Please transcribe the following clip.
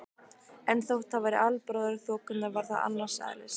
En þótt það væri albróðir þokunnar var það annars eðlis.